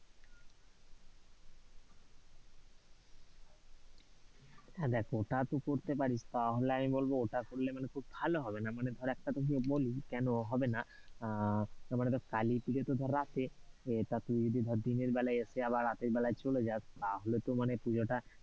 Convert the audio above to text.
হ্যাঁ, দেখ ওটা তুই করতে পারিস, তা হলে আমি বলবো ওটা করলে মানে খুব ভালো হবেনা, মানে ধর একটা তোকে বলি কেন, হবেনা না আহ মানে ধর কালী পুজো তো ধর রাত্রে, তুই যদি ধর দিনের বেলা এসে রাতের বেলা চলে যাস, তা হলে তো মানে দেখ পূজো টা,